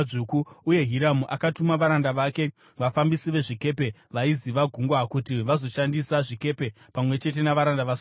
Uye Hiramu akatuma varanda vake, vafambisi vezvikepe vaiziva gungwa kuti vazoshandisa zvikepe pamwe chete navaranda vaSoromoni.